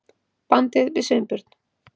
bandið við Sveinbjörn.